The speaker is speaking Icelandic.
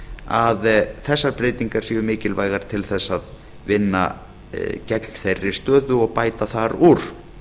að þessar breytingar séu mikilvægar til þess að vinna gegn þeirri stöðu og bæta þar úr